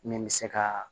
Min bɛ se ka